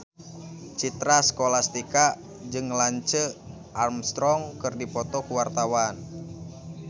Citra Scholastika jeung Lance Armstrong keur dipoto ku wartawan